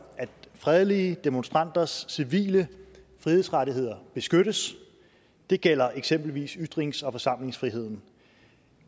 at fredelige demonstranters civile frihedsrettigheder beskyttes det gælder eksempelvis ytrings og forsamlingsfriheden